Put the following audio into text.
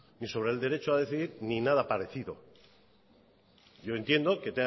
ni sobre el derecho a decidir ni nada parecido yo entiendo que